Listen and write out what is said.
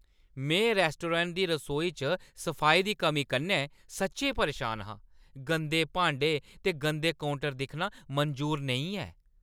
में रैस्टोरैंट दी रसोई च सफाई दी कमी कन्नै सच्चैं परेशान हा। गंदे भांडे ते गंदे काउंटर दिक्खना मंजूर नेईं ऐ।